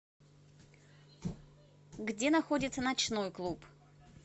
где находится ночной клуб